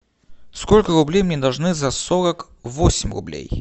сколько рублей мне должны за сорок восемь рублей